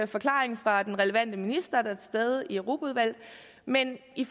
forklaring fra den relevante minister der er til stede i europaudvalget men i